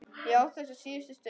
Ég á þessa síðustu stund.